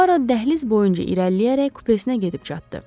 Bu ara dəhliz boyunca irəliləyərək kupesinə gedib çatdı.